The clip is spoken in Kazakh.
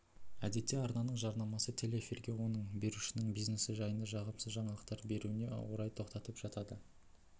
әдетте арнаның жарнамасы телеэфирге оны берушінің бизнесі жайында жағымсыз жаңалықтар беруіне орай тоқтап жатады